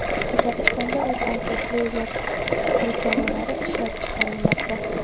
Qozog‘istonda UzAvtotrailer tirkamalari ishlab chiqarilmoqda.